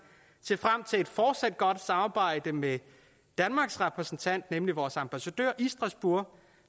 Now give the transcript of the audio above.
se frem til et fortsat godt samarbejde med danmarks repræsentant nemlig vores ambassadør i strasbourg